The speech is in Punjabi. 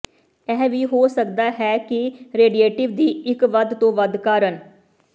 ਇਹ ਵੀ ਹੋ ਸਕਦਾ ਹੈ ਕਿ ਰੇਡੀਟੇਟਿਵ ਦੀ ਇੱਕ ਵੱਧ ਤੋਂ ਵੱਧ ਕਾਰਨ